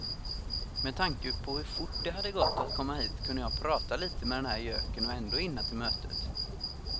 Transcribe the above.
Med tanke på hur fort det hade gått att komma hit kunde jag prata lite med den här göken och ändå hinna till mötet.